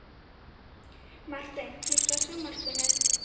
Marteinn, kveiktu á sjónvarpinu.